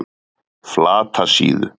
Flatasíðu